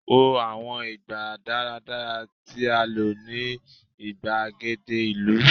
wo àwọn ìgbà daradara ti a lo ni igbagede ìlú